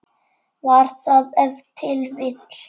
Var það ef til vill.